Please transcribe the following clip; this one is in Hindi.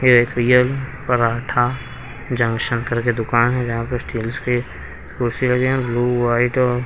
ये एक रियल पराठा जंक्शन करके दुकान है जहां पर स्टील्स के कुर्सी लगे हैं ब्लू वाइट और--